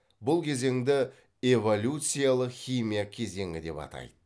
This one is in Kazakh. бұл кезеңді эволюциялық химия кезеңі деп атайды